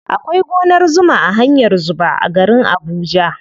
Akwai gonar zuma a hanyar zuba a garin abuja.